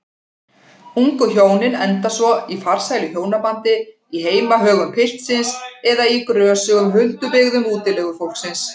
Ungu hjónin enda svo í farsælu hjónabandi í heimahögum piltsins eða í grösugum huldubyggðum útilegufólksins.